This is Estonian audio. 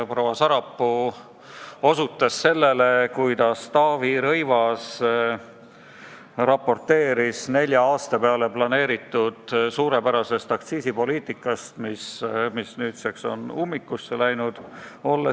Proua Sarapuu osutas sellele, kuidas Taavi Rõivas raporteeris nelja aasta peale planeeritud suurepärasest aktsiisipoliitikast, mis nüüdseks on ummikusse läinud.